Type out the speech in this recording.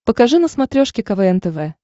покажи на смотрешке квн тв